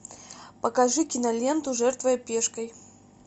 покажи киноленту жертвуя пешкой